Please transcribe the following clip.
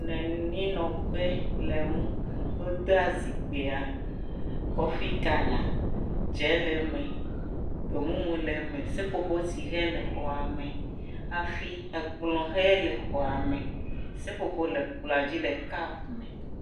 Le anyinɔƒe le ŋu, wodea zikpuia kɔfi kala, dze le me, gbemumu le me, seƒoƒotsihe le xɔa me, hafi ekplɔ ʋe le xɔame, seƒoƒo le kplɔa dzi le kap me.